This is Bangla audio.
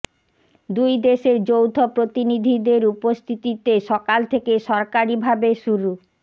দুই দেশের যৌথ প্রতিনিধিদের উপস্থিতিতে সকাল থেকে সরকারিভাবে শুরু